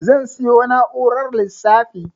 Zan siyo na'urar lissafi